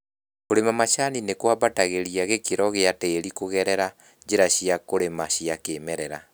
Kũrĩma macani ni kũambatagĩria gĩkĩro gĩa tĩri kũgerera njĩra cia kũrĩma cia kĩmerera